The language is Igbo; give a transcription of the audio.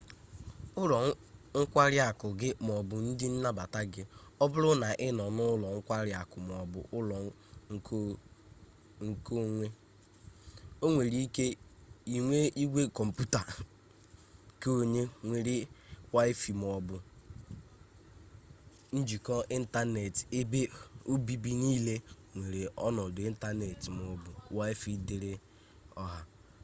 ụlọ nkwari akụ gị maọbụ ndị nnabata gị ọ bụrụ na ị nọ n'ụlọ nkwari akụ maọbu ụlọ konwe nwere ike inwe igwe kọmputa keonwe nwere waịfaị maọbụ njikọ ịntaneetị ebe obibi niile nwere ọnọdụ ịntaneetị maọbụ waịfaị dịịrị ọha